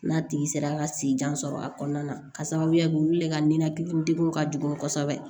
N'a tigi sera ka si jan sɔrɔ a kɔnɔna na ka sababuya kɛ olu le ka ninakili degun ka jugu kosɛbɛ